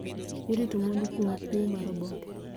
Irito mwandu kuom kwo mar oboke